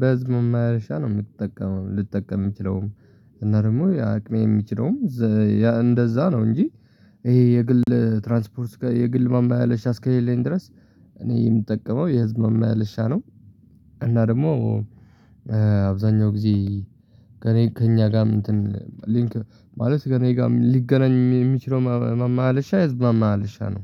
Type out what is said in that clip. በህዝብ መመላለሻ ነው የምትጠቀመው ልጠቀም የምችለውም። እና ደግሞ የአቅሜ የሚችለውም እንደዛ ነው እንጂ። ይሄ የግል ትራንስፖርት የግል ማመላለሻ እስከሌለኝ ድረስ። እኔ የምጠቀመው የህዝብ ማመላለሻ ነው። እና ደግሞ አብዛኛው ጊዜ ከእኔ ከእኛ ጋርም እንትን ሊንክ ማለት ጋር እኔ ጋር ሊገናኝ የሚችለው ማመላለሻ የህዝብ ማመላለሻ ነው